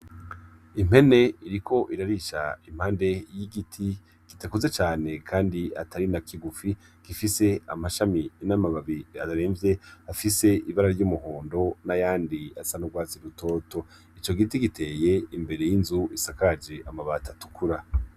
Impene iriko irarisha impande y’igiti kidakuze cane kandi atari na kigufi , gifise amashami n’amababi aremvye, afise ibara ry’umuhondo n’ayandi asa n’urwatsi rutoto . Ico giti giteye imbere y’inzu isakaje amabat’atukura.